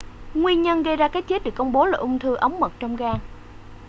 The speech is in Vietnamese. nguyên nhân gây ra cái chết được công bố là ung thư ống mật trong gan